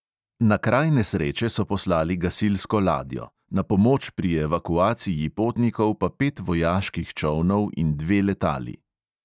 Na kraj nesreče so poslali gasilsko ladjo, na pomoč pri evakuaciji potnikov pa pet vojaških čolnov in dve letali.